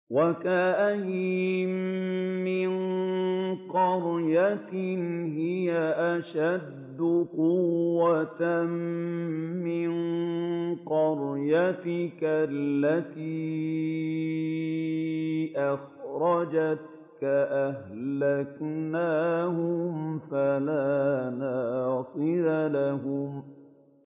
وَكَأَيِّن مِّن قَرْيَةٍ هِيَ أَشَدُّ قُوَّةً مِّن قَرْيَتِكَ الَّتِي أَخْرَجَتْكَ أَهْلَكْنَاهُمْ فَلَا نَاصِرَ لَهُمْ